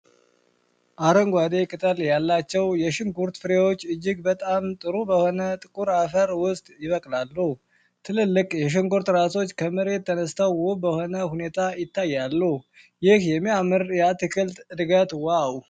አረንጓዴ ቅጠል ያላቸው የሽንኩርት ፍሬዎች እጅግ በጣም ጥሩ በሆነ ጥቁር አፈር ውስጥ ይበቅላሉ። ትልልቅ የሽንኩርት ራሶች ከመሬት ተነስተው ውብ በሆነ ሁኔታ ይታያሉ። ይህ የሚያምር የአትክልት ዕድገት ዋው!